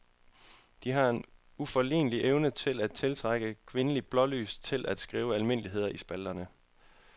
De har en uforlignelig evne til at tiltrække kvindelige blålys til at skrive almindeligheder i spalterne.